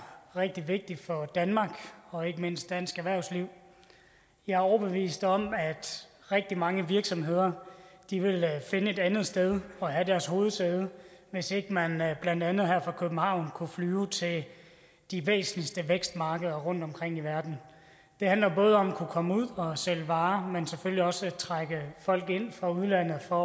rigtig vigtigt for danmark og ikke mindst dansk erhvervsliv jeg er overbevist om at rigtig mange virksomheder ville finde et andet sted at have deres hovedsæde hvis ikke man blandt andet her fra københavn kunne flyve til de væsentligste vækstmarkeder rundtomkring i verden det handler både om at kunne komme ud og sælge varer men selvfølgelig også om at trække folk ind fra udlandet for